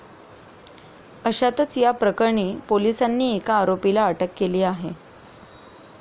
अशातच या प्रकरणी पोलिसांनी एका आरोपीला अटक केली आहे.